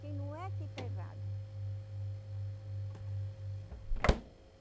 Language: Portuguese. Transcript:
Quem não é que está errado, né.